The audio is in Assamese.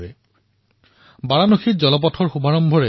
বাৰাণসীত ভাৰতৰ প্ৰথমটো জলপথৰ শুভাৰম্ভ হল